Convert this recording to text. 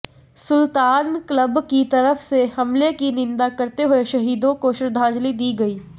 सुल्तान club की तरफ से हमले की निंदा करते हुए शहीदों को श्रद्धांजलि दी गई